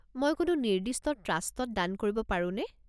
মই কোনো নিৰ্দিষ্ট ট্ৰাষ্টত দান কৰিব পাৰোনে?